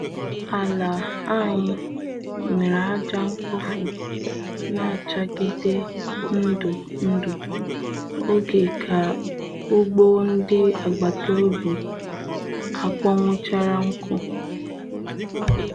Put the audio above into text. Ala anyi were aja mkpofu n'achagide ndu ndu oge ka ugbo ndị agbata obi akpọnwụchara nku.